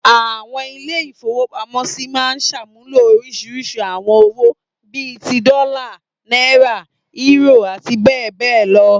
Àwọn ilé-ìfowópamọ́sí máa ń ṣàmúlò oríṣiríṣi àwọn owó, bí i ti; dọ́là, náírà, eúrò àti bẹ́ẹ̀ bẹ́ẹ̀ lọ.